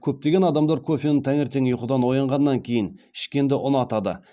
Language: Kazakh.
көптеген адамдар кофені таңертең ұйқыдан оянғаннан кейін ішкенді ұнатады